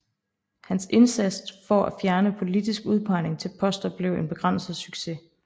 Hans indsats for at fjerne politisk udpegning til poster blev en begrænset succes